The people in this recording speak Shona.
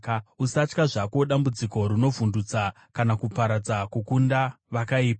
Usatya zvako dambudziko rinovhundutsa kana kuparadza kunokunda vakaipa,